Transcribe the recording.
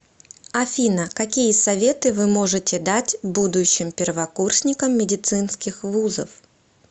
афина какие советы вы можете дать будущим первокурсникам медицинских вузов